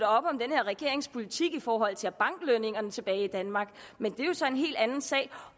op om den her regerings politik i forhold til at banke lønningerne tilbage i danmark men det er jo så en helt anden sag